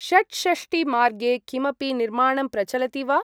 षट्षष्टि-मार्गे किमपि निर्माणं प्रचलति वा?